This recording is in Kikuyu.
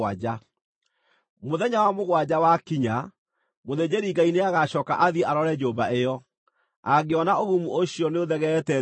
Mũthenya wa mũgwanja wakinya, mũthĩnjĩri-Ngai nĩagacooka athiĩ arore nyũmba ĩyo. Angĩona ũgumu ũcio nĩũthegeete thingo-inĩ,